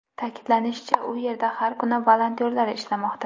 Ta’kidlanishicha, u yerda har kuni volontyorlar ishlamoqda.